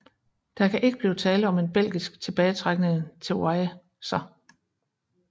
Der kan ikke blive tale om en belgisk tilbagetrækning til Yser